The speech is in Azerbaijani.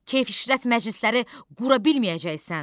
Keyf işrət məclisləri qura bilməyəcəksən.